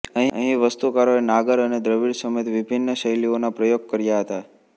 અહીં વાસ્તુકારોએ નાગર અને દ્રવિડ સમેત વિભિન્ન શૈલિઓના પ્રયોગ કર્યા હતાં